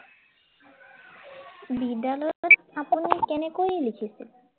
বিদ্য়ালয়ত আপুনি কেনেকৈ লিখিছিল?